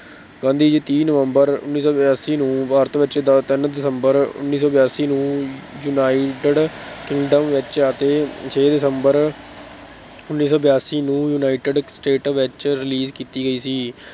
ਗਾਂਧੀ ਜੀ ਤੀਹ ਨਵੰਬਰ ਉੱਨੀ ਸੌ ਬਿਆਸੀ ਨੂੰ ਭਾਰਤ ਵਿੱਚ ਦਾ ਤਿੰਨ ਦਸੰਬਰ ਉੱਨੀ ਸੌ ਬਿਆਸੀ ਨੂੰ united kingdom ਵਿੱਚ, ਅਤੇ ਛੇ ਦਸੰਬਰ ਉੱਨੀ ਸੌ ਬਿਆਸੀ ਨੂੰ united state ਵਿੱਚ release ਕੀਤੀ ਗਈ ਸੀ।